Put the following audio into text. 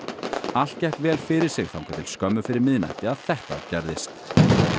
allt gekk vel fyrir sig þangað til skömmu fyrir miðnætti að þetta gerðist